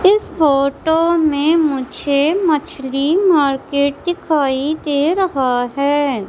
इस फोटो में मुझे मछली मार्केट दिखाई दे रहा है।